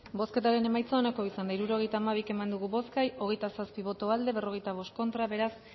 bozketaren emaitza onako izan da hirurogeita hamabi eman dugu bozka hogeita zazpi boto aldekoa cuarenta y cinco contra beraz